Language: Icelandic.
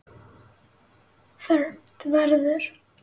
fermt verður.